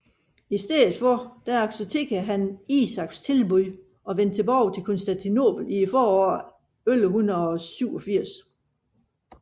I stedet accepterede han Isaks tilbud og vendte tilbage til Konstantinopel i foråret 1187